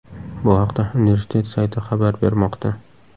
Bu haqda universitet sayti xabar bermoqda .